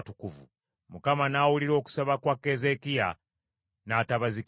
Mukama n’awulira okusaba kwa Keezeekiya, n’atabazikiriza.